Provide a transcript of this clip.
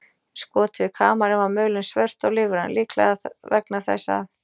Í skoti við kamarinn var mölin svört og lífræn, líklega vegna þess að